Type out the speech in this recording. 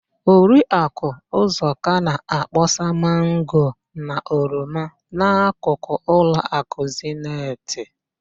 Oriakụ ụzọka na-akpọsa mango na oroma n'akụkụ ụlọakụ Zenit.